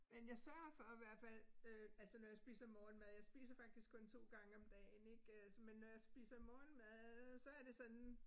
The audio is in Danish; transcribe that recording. Men jeg sørger for hvert fald øh altså når jeg spiser morgenmad jeg spiser faktisk kun 2 gange om dagen ik øh så men når jeg spiser morgenmad så er det sådan